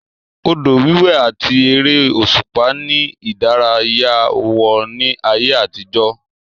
Odò wíwé àti ère òṣùpá ni ìdárayá wọn ní ayé àtijọ́